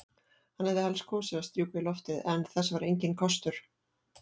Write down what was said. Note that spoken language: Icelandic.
Hann hefði helst kosið að strjúka í loftið, en þess var enginn kostur.